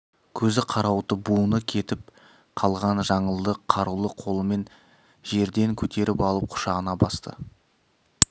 көзі қарауытып буыны кетіп қалған жаңылды қарулы қолымен жерден көтеріп алып құшағына басты